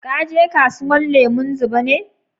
Ka je kasuwan lemun zuba ne?